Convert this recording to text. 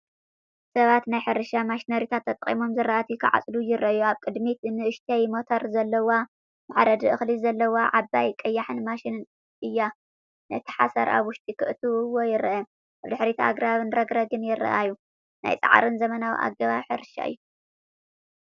ሰባት ናይ ሕርሻ ማሽነሪታት ተጠቒሞም ዝራእቲ ክዓጽዱ ይረኣዩ። ኣብ ቅድሚኡ ንእሽቶ ሞተር ዘለዋ፡ መሕረዲ እኽሊ ዘለዋ ዓባይ ቀያሕ ማሽን እያ። ነቲ ሓሰር ኣብ ውሽጢ ከእትውዎ ይረኣዩ። ኣብ ድሕሪት ኣግራብን ረግረግን ይረኣዩ። ናይ ጻዕርን ዘመናዊ ኣገባብ ሕርሻን እዩ።